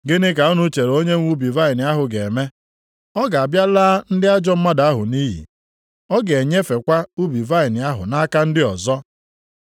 “Gịnị ka unu chere onyenwe ubi vaịnị ahụ ga-eme? Ọ ga-abịa laa ndị ajọ mmadụ ahụ nʼiyi. Ọ ga-enyefekwa ubi vaịnị ahụ nʼaka ndị ọzọ.